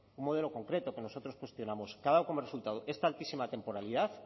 un modelo concreto que nosotros cuestionamos que ha dado como resultado esta altísima temporalidad